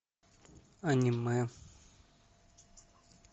аниме